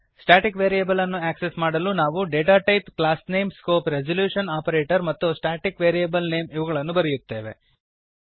static variable ಅನ್ನು access ಮಾಡಲು ನಾವು data type class name scope resolution operator ಮತ್ತು ಸ್ಟಾಟಿಕ್ ವೇರಿಯಬಲ್ ನೇಮ್ ಇವುಗಳನ್ನು ಬರೆಯುತ್ತೇವೆ